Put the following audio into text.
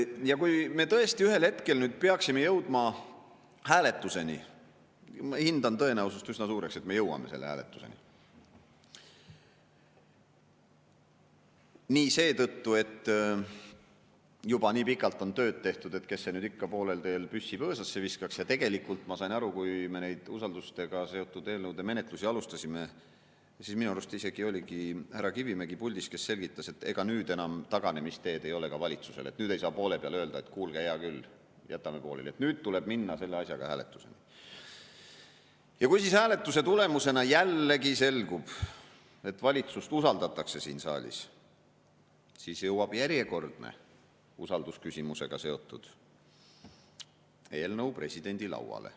Ja kui me tõesti ühel hetkel peaksime jõudma hääletuseni – ma hindan tõenäosust üsna suureks, et me jõuame selle hääletuseni, kas või seetõttu, et juba nii pikalt on tööd tehtud, kes see nüüd ikka poolel teel püssi põõsasse viskaks, ja tegelikult, kui me nende usaldusega seotud eelnõude menetlust alustasime, siis minu arust oli just härra Kivimägi puldis, kes selgitas, et ega nüüd enam taganemisteed ei ole ka valitsusel, nüüd ei saa poole peal öelda, et kuulge, hea küll, jätame pooleli, et nüüd tuleb minna selle asjaga hääletusele –, ja kui siis hääletuse tulemusena jällegi selgub, et valitsust usaldatakse siin saalis, siis jõuab järjekordne usaldusküsimusega seotud eelnõu presidendi lauale.